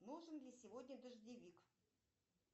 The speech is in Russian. нужен ли сегодня дождевик